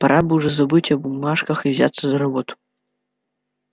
пора бы уже забыть о бумажках и взяться за работу